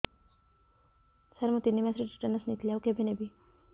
ସାର ମୁ ତିନି ମାସରେ ଟିଟାନସ ନେଇଥିଲି ଆଉ କେବେ ନେବି